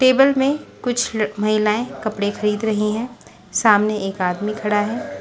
Table में कुछ महिलाएं कपड़े खरीद रही हैं सामने एक आदमी खड़ा है।